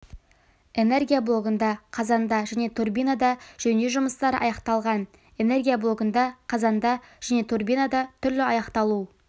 энергия блогында қазанда және турбинада жөндеу жұмыстары аяқталған энергия блогында қазанда және турбинада түрлі аяқталу